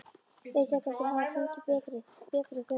Þeir gætu ekki hafa fengið betri. betri þjónustu.